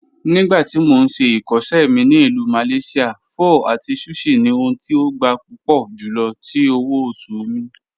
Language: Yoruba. Nígbàtí mó n ṣè ikọṣẹ mi ni Ilù Malaysia, pho àti sushi ni ohùn tí ó gbà púpọ̀ júlọ̀ tí òwò-ọ̀ṣù mi.